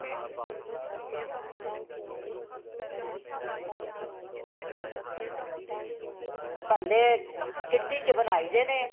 ਬੱਲੇ , kitty ਚ ਬਨਾਈ ਦੇ ਨੇ